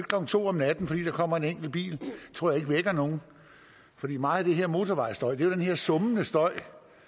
klokken to om natten fordi der kommer en enkelt bil det tror jeg ikke vækker nogen meget af den her motorvejsstøj er jo den her summende støj